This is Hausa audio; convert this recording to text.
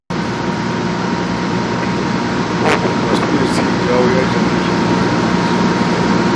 Mahukunta su ne suke jawo yajin aikin nan wani lokacin